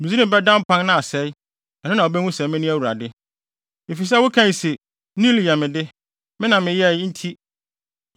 Misraim bɛda mpan na asɛe. Ɛno na wobehu sɛ mene Awurade. “ ‘Efisɛ wokae se, “Nil yɛ me de; me na meyɛe,” enti